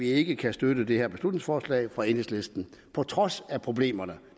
ikke kan støtte det her beslutningsforslag fra enhedslisten på trods af problemerne